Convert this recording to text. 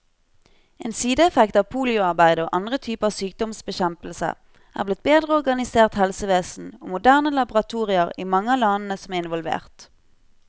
En sideeffekt av polioarbeidet og andre typer sykdomsbekjempelse er blitt bedre organisert helsevesen og moderne laboratorier i mange av landene som er involvert.